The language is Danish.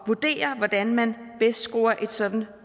vurdere hvordan man bedst skruer et sådant